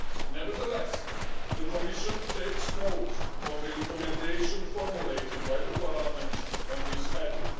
Nevertheless, the Commission takes note of the recommendation formulated by Parliament on this heading.